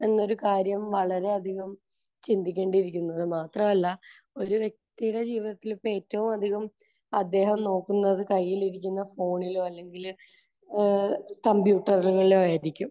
എന്നൊരു കാര്യം വളരെയധികം ചിന്തിക്കേണ്ടിയിരിക്കുന്നു. അത് മാത്രമല്ല, ഒരു വ്യക്തിയുടെ ജീവിതത്തിൽ ഇപ്പോൾ ഏറ്റവും അധികം അദ്ദേഹം നോക്കുന്നത് കയ്യിൽ ഇരിക്കുന്ന ഫോണിലോ അല്ലെങ്കിൽ ഏഹ് കമ്പ്യൂട്ടറിലോ ആയിരിക്കും.